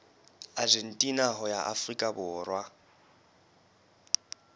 argentina ho ya afrika borwa